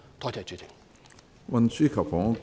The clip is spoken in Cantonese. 多謝主席。